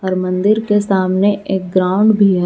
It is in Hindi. और मंदिर के सामने एक ग्राउंड भी है।